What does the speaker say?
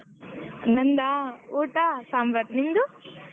ನಂದಾ ಊಟ ಸಾಂಬಾರ್ ನಿಂದು?